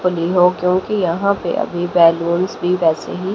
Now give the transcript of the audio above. हो क्योंकि यहां पे अभी बलूंस भी वैसे ही--